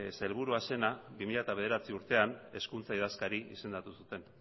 sailburua zena bi mila bederatzi urtean hezkuntza idazkari izendatu zuten